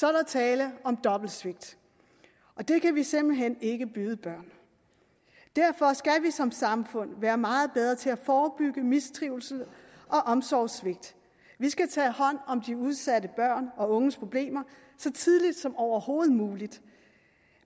er der tale om dobbelt svigt og det kan vi simpelt hen ikke byde børn derfor skal vi som samfund være meget bedre til at forebygge mistrivsel og omsorgssvigt vi skal tage hånd om de udsatte børn og unges problemer så tidligt som overhovedet muligt